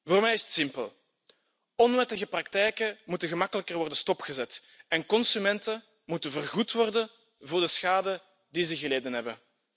Voor mij is het simpel onwettige praktijken moeten gemakkelijker worden stopgezet en consumenten moeten vergoed worden voor de schade die ze geleden hebben.